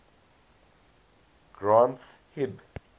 granth hib